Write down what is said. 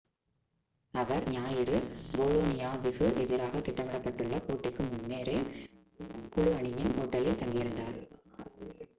அவர் ஞாயிறு போலோனியாவிகு எதிராக திட்டமிடப்பட்டுள்ள போட்டிக்கு முன்னரே குழு அணியின் ஹோட்டலில் தங்கியிருந்தார்